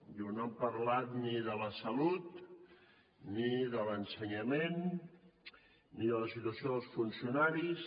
diu no han parlat ni de la salut ni de l’ensenyament ni de la situació dels funcionaris